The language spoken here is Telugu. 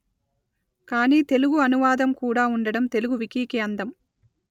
కాని తెలుగు అనువాదం కుడా ఉండడం తెలుగు వికీకి అందం